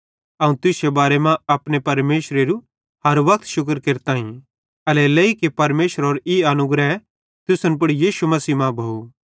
अवं तुश्शे बारे मां अपने परमेशरेरू हर वक्त शुक्र केरताईं एल्हेरेलेइ कि परमेशरेरो ई अनुग्रह तुसन पुड़ यीशु मसीह मां भोव